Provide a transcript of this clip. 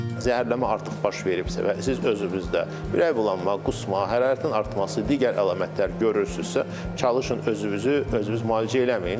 Zəhərlənmə artıq baş veribsə və siz özünüzdə ürək bulanma, qusma, hərarətin artması, digər əlamətlər görürsünüzsə, çalışın özünüzü, özünüz müalicə eləməyin.